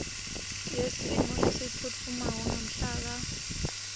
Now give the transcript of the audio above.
yesimo lesiphutfumako ngamhlaka